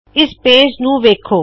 ਇਸ ਪੇਜ ਨੂ ਵੇੱਖੋ